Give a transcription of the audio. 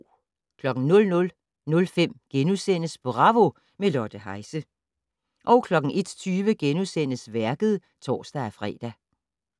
00:05: Bravo - med Lotte Heise * 01:20: Værket *(tor-fre)